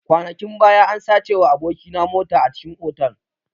Kwanakin baya an sacewa aboki na mota a cikin otal.